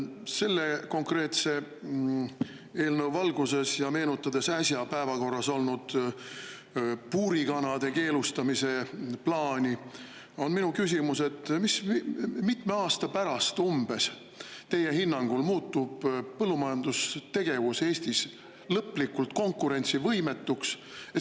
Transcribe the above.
Selle konkreetse eelnõu valguses ja meenutades äsja päevakorral olnud puurikanade keelustamise plaani, on minu küsimus, et umbes kui mitme aasta pärast teie hinnangul muutub põllumajandustegevus Eestis lõplikult konkurentsivõimetuks.